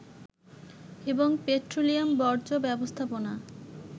এবং পেট্রোলিয়াম বর্জ্য ব্যবস্থাপনা